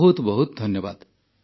ବହୁତ ବହୁତ ଧନ୍ୟବାଦ